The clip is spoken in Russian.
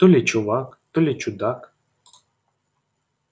то ли чувак то ли чудак